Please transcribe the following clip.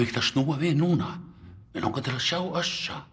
ekki að snúa við núna mig langar til að sjá